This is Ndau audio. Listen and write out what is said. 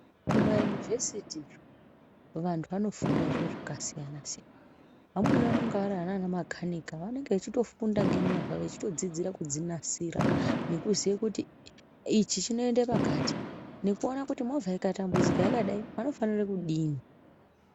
Kumayunovhesiti vantu vanofunda zviro zvakasiyana siyana vamweni vanonga vari anamakanika vanenge vachitofunda ngezvemivha vechitofundira kudzinasira kuziye kuti ichi chinoende pakati nekuona kuti movha ikaitambudzika yakadai inofanira kudini.